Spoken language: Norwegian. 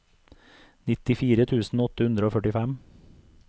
nittifire tusen åtte hundre og førtifem